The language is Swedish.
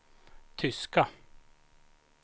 tyska